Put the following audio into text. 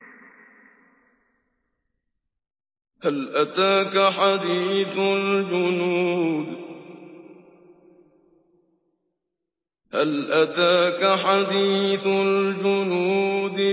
هَلْ أَتَاكَ حَدِيثُ الْجُنُودِ